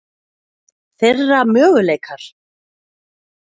Þeirra möguleikar?